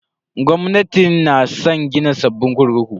Gwamnatin na san gina sabbin kurkuku.